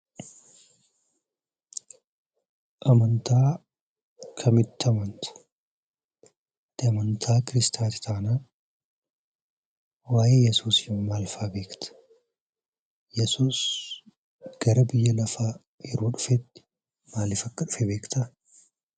Amantaa kamitti amantaa? Amantaa kiristaanaas taanaan waa'ee Iyyesuus maal fa'aa beektu? Iyesuus gara biyya lafaa yeroo dhufetti maaliif akka dhufe beektaa?